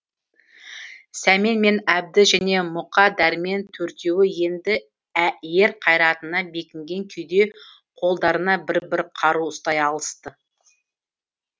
сәмен мен әбді және мұқа дәрмен төртеуі енді ер қайратына бекінген күйде қолдарына бір бір қару ұстай алысты